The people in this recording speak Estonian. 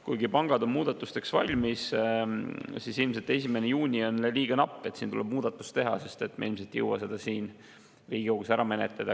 Kuigi pangad on muudatusteks valmis, on ilmselt 1. juunini liiga napp aeg, siin tuleb muudatus teha, sest me ilmselt ei jõua seda Riigikogus ära menetleda.